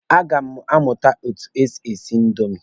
A ga m amụ etu e si esi indomi.